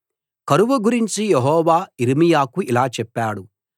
కరువు గురించి యెహోవా యిర్మీయాకు ఇలా చెప్పాడు